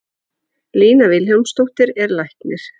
Lína Vilhjálmsdóttir er læknir.